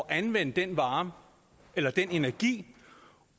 at anvende den vare eller den energi